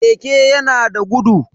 Keke yana da gudu.